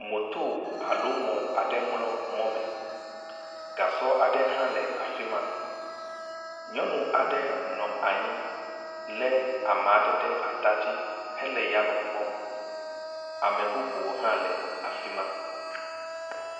Moto alo mɔ aɖe mlɔ mɔ me. Gasɔ aɖe hã le afi ma. Nyɔnua ɖe hã nɔ anyi le ame aɖe ɖe ata dzi hele yame kpɔm. ame bubuwo hã le afi ma.